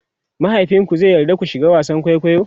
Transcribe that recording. mahaifinku zai yarda ki shiga wasan kwaikwayo?